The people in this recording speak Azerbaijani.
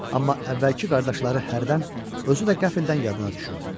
Amma əvvəlki qardaşları hərdən özü də qəflədən yadına düşürdü.